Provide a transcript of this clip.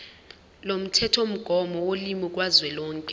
lomthethomgomo wolimi kazwelonke